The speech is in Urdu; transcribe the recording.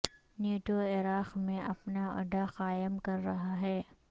نیٹو عراق میں اپنا اڈہ قائم کر رہا ہے